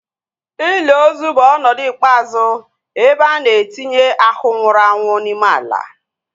Ili ozu bụ ọnọdụ ikpeazụ ebe a na-etinye ahu nwụrụ anwụ n'ime ala